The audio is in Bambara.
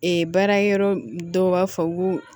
Ee baara yɔrɔ dɔw b'a fɔ ko